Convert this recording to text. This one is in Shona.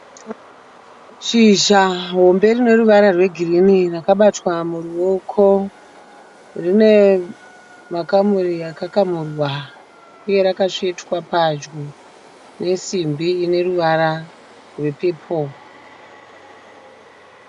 Shizha hombe rine ruvara rwegirinhi rakabatwa muruoko. Rine makamuri akakamurwa uye rakatsvetwa pedyo nesimbi ine ruvara rwepepuro.